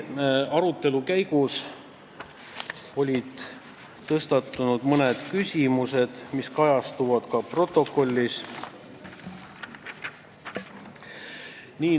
Arutelu käigus tõstatusid siiski mõned küsimused, mis kajastuvad ka protokollis.